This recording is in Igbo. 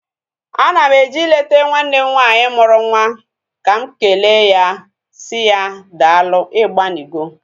Ana m eje ileta nwanne m nwaanyị mụrụ nwa ka m ekele ya si ya, daalu igbanigo.